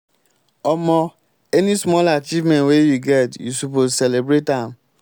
omo any small achievement wey you get you suppose celebrate am.